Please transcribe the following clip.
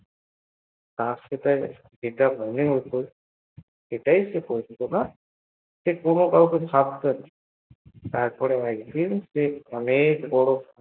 তার যেটা মনে হত তো সেটাই সে করত সে কোনো কাউকে ভয় পেত না তারপর সে একদিন অনেক বড় হল